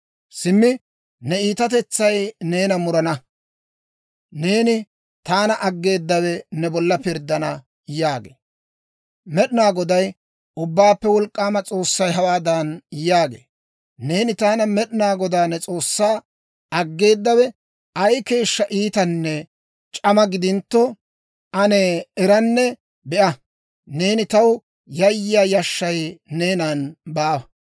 Simmi ne iitatetsay neena murana; neeni taana aggeedawe ne bolla pirddana» yaagee. Med'inaa Goday, Ubbaappe Wolk'k'aama S'oossay hawaadan yaagee; «Neeni taana Med'inaa Godaa ne S'oossaa aggeedawe ay keeshshaa iitanne c'ama gidintto, ane eranne be'a. Neeni taw yayyiyaa yashshay neenan baawa.